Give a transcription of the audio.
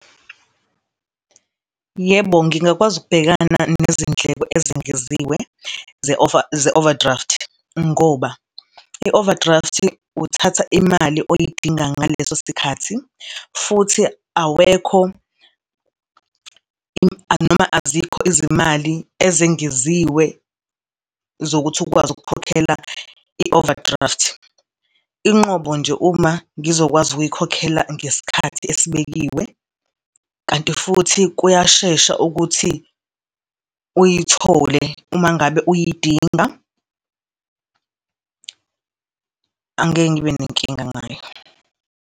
Yebo, ngingakwazi ukubhekana nezindleko ezengeziwe ze-over ze-overdraft ngoba i-overdraft-i uthatha imali oyidinga ngaleso sikhathi futhi awekho noma azikho izimali ezengeziwe zokuthi ukwazi ukukhokhela i-overdraft. Inqobo nje uma ngizokwazi ukuyikhokhela ngesikhathi esibekiwe kanti futhi kuyashesha ukuthi uyithole umangabe uyidinga, angeke ngibe nenkinga ngayo.